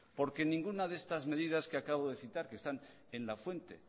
porque ninguna de estas medidas que acabo de citar que están en la fuente